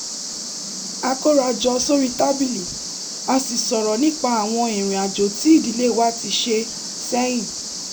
a kóra jọ sórí tábìlì a sì sọ̀rọ̀ nípa àwọn ìrìn àjò tí ìdílé wa ti ṣe sẹ́yìn